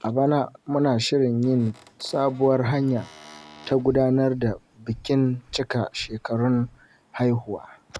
A bana, muna shirin yin sabuwar hanya ta gudanar da bikin cika shekarun haihuwa.